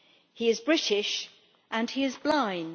He is British and he is blind.